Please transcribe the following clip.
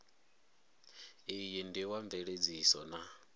iyi ndi wa mveledziso na